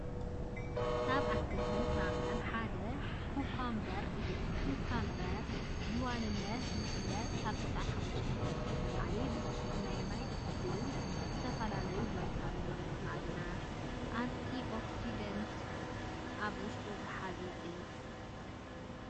ካብ ኣትክልትን ፍራምረን ሓደ ኩኮምበር እዩ፡፡ ኩከምበር ብዋናነት ዝፍለጥ ካብ95% ንላዕሊ ብዝኾነ ናይ ማይ ትሕዝትኡ፤ ዝተፈላለዩ ቫይታሚናትን፣ ማዕድናትን አንቲኦክሲደንትን ኣብ ውሽጡ ዝሓዘ እዩ፡፡